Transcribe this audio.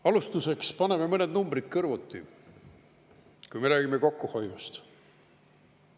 Alustuseks paneme mõned numbrid kõrvuti, kui me räägime kokkuhoiust.